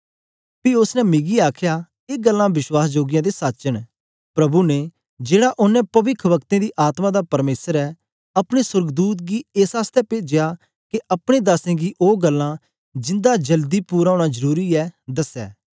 पी उस्स ने मिकी आखया ए गल्लां बश्वास जोगियां ते सच न प्रभु ने जेहड़ा औने पविखवक्ताऐं दी आत्मा दा परमेसर ऐ अपने सोर्गदूत गी एस आसतै पेजया के अपने दासें गी ओ गल्लां जिंदा जल्दी पूरा ओना जरुरी ऐ दसे